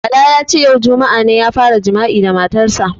Bala ya ce "yau juma'a ne ya fara jima'i da matar sa".